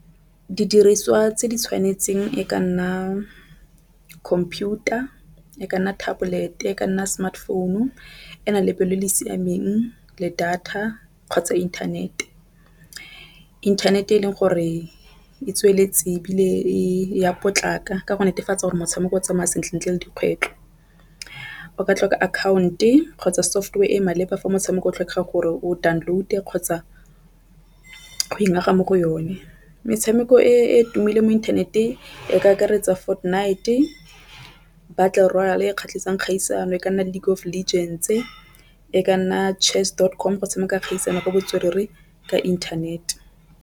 Didiriswa tse di tshwanetseng e ka nna computer e ka nna tablet e ka nna smartphone ena lebe le le siameng le data kgotsa inthanete. Inthanete e leng gore e tsweletse ebile e ya potlaka ka go netefatsa gore motshameko o tsamaya sentle le dikgwetlo. O ka tlhoka account e kgotsa software e maleba fa motshameko o tlhokegang gore o download kgotsa mo go yone. Metshameko e e tumileng mo inthaneteng e ka akaretsa Fortnite, battle royale kgatlhisang kgaisano e ka nna League of Legends e ka nna Chess dot com go tshameka kgaisano ka botswerere ka internet.